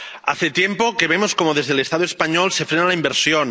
Hace tiempo que vemos cómo desde el Estado español se frena la inversión